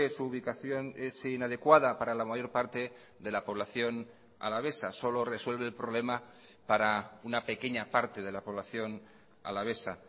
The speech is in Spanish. su ubicación es inadecuada para la mayor parte de la población alavesa solo resuelve el problema para una pequeña parte de la población alavesa